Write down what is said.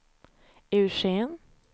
Eugen